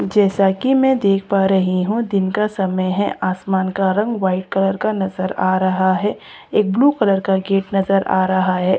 जैसा की मैं देख पा रही हूं दिन का समय है आसमान का रंग वाइट कलर का नजर आ रहा है एक ब्लू कलर का गेट नजर आ रहा है।